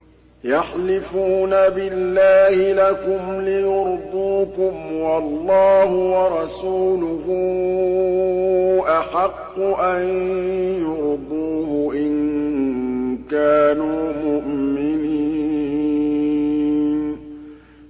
يَحْلِفُونَ بِاللَّهِ لَكُمْ لِيُرْضُوكُمْ وَاللَّهُ وَرَسُولُهُ أَحَقُّ أَن يُرْضُوهُ إِن كَانُوا مُؤْمِنِينَ